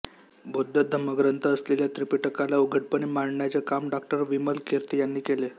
बौद्ध धम्मग्रंथ असलेल्या त्रिपिटकाला उघडपणे मांडण्याचे काम डॉ विमलकीर्ती यांनी केले